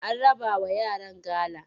An rabawa yaran gala?